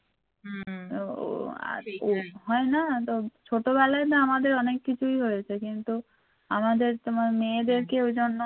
ছোট বেলায় না আমাদের অনেক কিছুই হয়েছে কিন্তু আমাদেরকে তোমার মেয়েদেরকে ঐজন্য